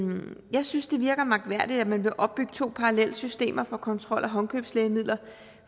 jeg synes det virker mærkværdigt at man vil opbygge to parallelle systemer for kontrol af håndkøbslægemidler